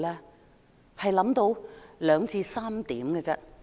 我只想到兩三點。